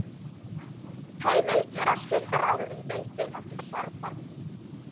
Heimilt er að skipta ráðinu í deildir eftir sérverkefnum.